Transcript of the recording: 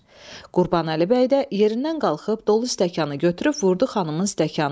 Qurbanəli bəy də yerindən qalxıb dolu stəkanı götürüb vurdu xanımın stəkanına.